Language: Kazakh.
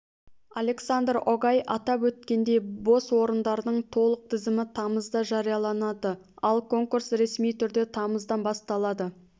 александр огай атап өткендей бос орындардың толық тізімі тамызда жарияланады ал конкурс ресми түрде тамыздан басталады